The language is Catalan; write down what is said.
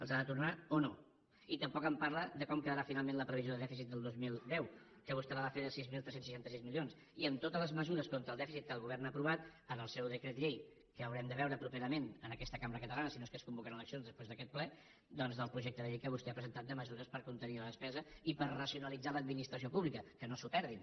els ha de tornar o no i tampoc en parla de com quedarà finalment la previsió de dèficit del dos mil deu que vostè la va fer de sis mil tres cents i seixanta sis milions i amb totes les mesures contra el dèficit que el govern ha aprovat en el seu decret llei que haurem de veure properament en aquesta cambra catalana si no és que es convoquen eleccions després d’aquest ple doncs del projecte de llei que vostè ha presentat de mesures per contenir la despesa i per racionalitzar l’administració pública que no s’ho perdin